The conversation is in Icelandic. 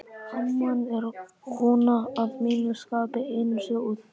amman er kona að mínu skapi, einsog þú.